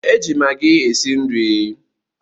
E ji Magi esi nri